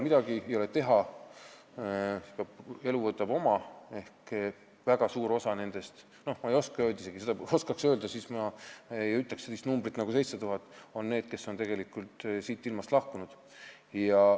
Midagi ei ole teha, elu võtab oma ehk väga suur osa nendest – ma ei oska öelda, kui suur osa, kui ma oskaks seda öelda, siis ma ei ütleks sellist numbrit nagu 7000 – on need, kes on tegelikult siitilmast lahkunud.